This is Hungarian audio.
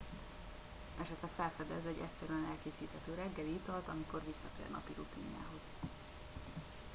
esetleg felfedez egy egyszerűen elkészíthető reggeli italt amikor visszatér napi rutinjához